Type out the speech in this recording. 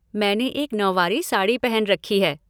मैंने एक नौवारी साड़ी पहन रखी है।